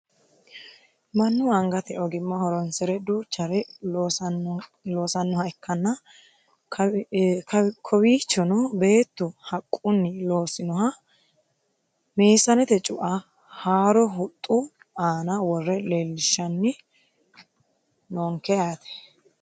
mannu angate ogimma horonsire duuchare loosannoha ikkanna kowiichono beettu haqquunni loosinoha meesanete cu"a haaro huxxu aana wore leellishanni noonke yaate